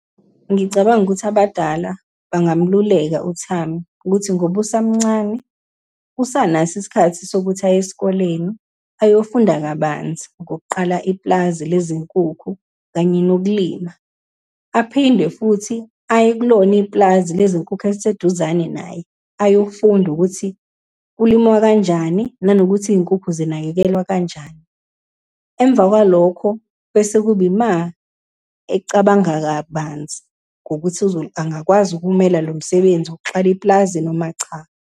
Ngicabanga ukuthi abadala bangamluleka uThami, ukuthi ngoba usamncane, usanaso isikhathi sokuthi aye esikoleni ayofunda kabanzi ngokuqala ipulazi lezinkukhu, kanye nokulima. Aphinde futhi aye kulona ipulazi lezinkukhu eliseduzane naye, ayofunda ukuthi kulimwa kanjani, nanokuthi iy'nkukhu zinakekelwa kanjani. Emva kwalokho bese kuba ima ecabanga kabanzi ngokuthi angakwazi ukumela lo msebenzi wokuxala ipulazi noma cha.